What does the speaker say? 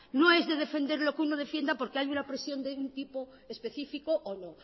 no es de defender lo que uno defienda porque hay una presión de un tipo específico o no